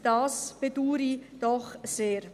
Das bedaure ich doch sehr.